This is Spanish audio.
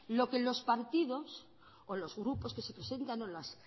lo que los partidos o los grupos que se presentan o las